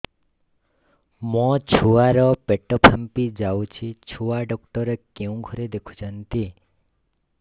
ମୋ ଛୁଆ ର ପେଟ ଫାମ୍ପି ଯାଉଛି ଛୁଆ ଡକ୍ଟର କେଉଁ ଘରେ ଦେଖୁ ଛନ୍ତି